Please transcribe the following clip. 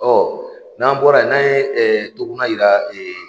n'an bɔra ye n'an ye toguna yira